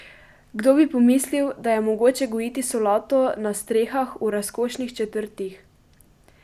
Kdo bi pomislil, da je mogoče gojiti solato na strehah v razkošnih četrtih?